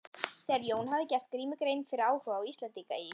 Þegar Jón hafði gert Grími grein fyrir áhuga Íslendinga í